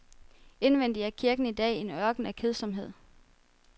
Indvendig er kirken i dag en ørken af kedsomhed.